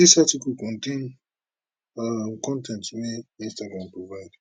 dis article contain um con ten t wey instagram provide